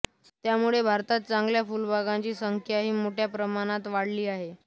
त्यामुळे भारतात चांगल्या फुलबागांची संख्याही मोठ्या प्रमाणात वाढली आहे